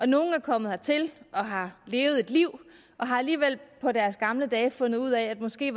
nogle er kommet hertil har levet et liv og har alligevel på deres gamle dage fundet ud af at måske